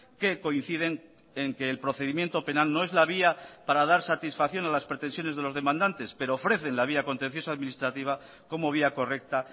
que coinciden en que el procedimiento penal no es la vía para dar satisfacción a las pretensiones de los demandantes pero ofrecen la vía contenciosa administrativa como vía correcta